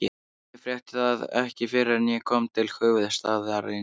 Ég frétti það ekki fyrr en ég kom til höfuðstaðarins.